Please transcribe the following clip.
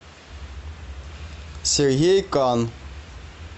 сергей кан